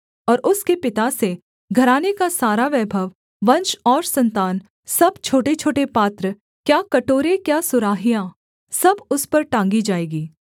और उसके पिता से घराने का सारा वैभव वंश और सन्तान सब छोटेछोटे पात्र क्या कटोरे क्या सुराहियाँ सब उस पर टाँगी जाएँगी